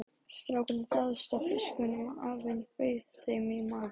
Strákarnir dáðust að fiskunum og afinn bauð þeim í mat.